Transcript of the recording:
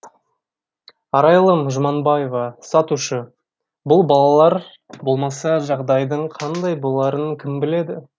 арайлым жұманбаева сатушы бұл балалар болмаса жағдайдың қандай боларын кім біледі